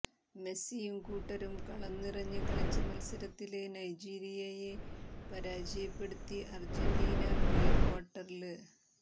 മെസ്സിയും കൂട്ടരും കളം നിറഞ്ഞ് കളിച്ച മത്സരത്തില് നൈജീരിയയെ പരാജയപ്പെടുത്തി അർജന്റീന പ്രീക്വാർട്ടറില്